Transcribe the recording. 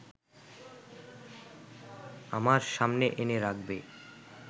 আমার সামনে এনে রাখবে